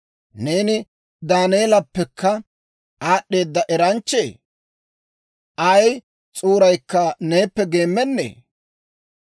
Neeni Daaneelappekka aad'd'eeda eranchchee? Ay s'uuraykka neeppe geemmennee?